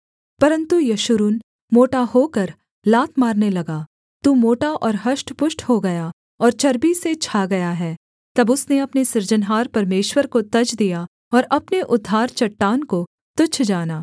परन्तु यशूरून मोटा होकर लात मारने लगा तू मोटा और हष्टपुष्ट हो गया और चर्बी से छा गया है तब उसने अपने सृजनहार परमेश्वर को तज दिया और अपने उद्धार चट्टान को तुच्छ जाना